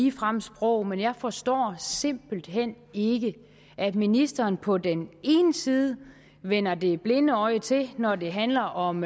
ligefremme sprog men jeg forstår simpelt hen ikke at ministeren på den ene side vender det blinde øje til når det handler om